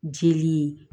Jeli